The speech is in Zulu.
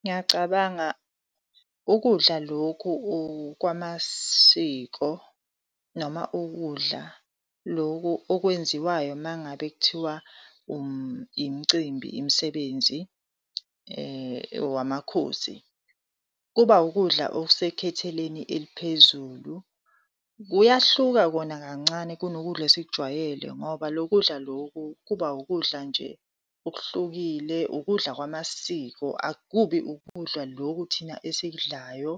Ngiyacabanga, ukudla lokhu kwamasiko noma ukudla loku okwenziwayo mangabe kuthiwa imcimbi, imisebenzi wamakhosi, kuba wukudla okesekhetheleni eliphezulu. Kuyahluka kona kancane kunokudla esikujwayele ngoba lo kudla loku kuba wukudla nje okuhlukile ukudla kwamasiko. Akubi ukudla loku thina esikudlayo,